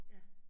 Ja